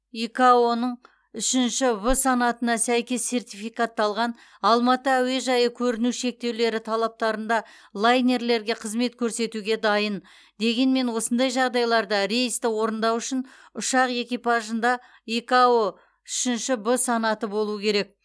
икао ның үшінші в санатына сәйкес сертификатталған алматы әуежайы көріну шектеулері талаптарында лайнерлерге қызмет көрсетуге дайын дегенмен осындай жағдайларда рейсті орындау үшін ұшақ экипажында икао үшінші в санаты болу керек